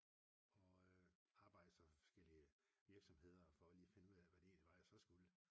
Og arbejdede så for forskellige virksomheder for lige at finde ud hvad jeg egentlig så skulle